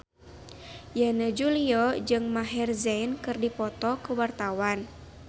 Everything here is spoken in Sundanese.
Yana Julio jeung Maher Zein keur dipoto ku wartawan